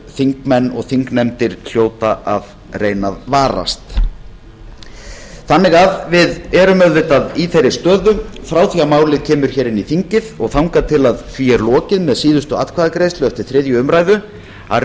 þingmenn og þingnefndir hljóta að reyna að varast við erum auðvitað í þeirri stöðu frá því að málið kemur inn í þingið og þangað til að því er lokið með síðustu atkvæðagreiðslu eftir þriðju umræðu að